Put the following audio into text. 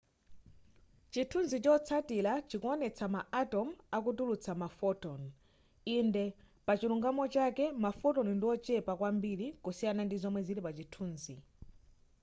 chithunzi chotsatila chikuonetsa ma atom akutulutsa ma photon inde pachilungamo chake ma photon ndiochepa kwambiri kusiyana ndi zomwe zili pa chithunzi